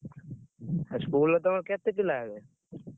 ଆଉ school ରେ ତମେ, କେତେ ପିଲା ହେବେ?